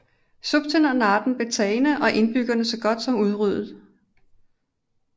Zutphen og Naarden blev tagne og indbyggerne så godt som udryddede